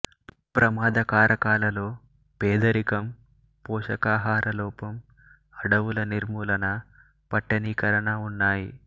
ప్రమాద కారకాలలో పేదరికం పోషకాహార లోపం అడవుల నిర్మూలన పట్టణీకరణ ఉన్నాయి